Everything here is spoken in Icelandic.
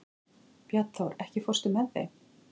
Bjarnþór, ekki fórstu með þeim?